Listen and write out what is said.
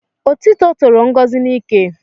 Otiti toro Ngozi n'ike